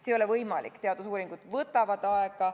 See ei ole võimalik, teadusuuringud võtavad aega.